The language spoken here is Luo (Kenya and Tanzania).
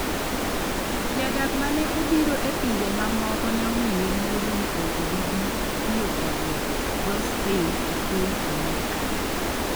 Jodak ma ne obiro e pinje mamoko ne omiye luoro ni ok gibi tiyo kod dho Spain e piny Amerka